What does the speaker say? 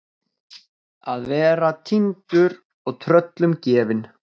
Að vera týndur og tröllum gefin